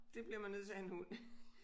Det bliver man nødt til at have en hund